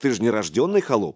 ты же не рождённый холоп